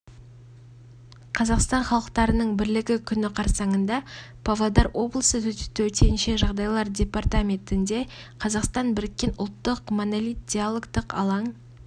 қазақстан халықтарының бірлігі күні қарсаңында павлодар облысы төтенше жағдайлар департаментінде қазақстан біріккен ұлттық монолит диалогтық алаң